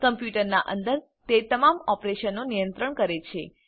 કમ્પ્યુટરનાં અંદર તે તમામ ઓપરેશનો નિયંત્રણ કરે છે